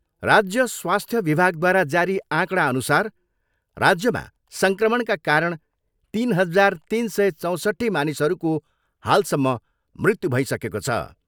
राज्य स्वास्थ्य विभागद्वारा जारी आँकडाअनुसार राज्यमा सङ्क्रमणका कारण तिन हजार तिन सय चौसट्ठी मानिसहरूको हालसम्म मृत्यु भइसकेको छ।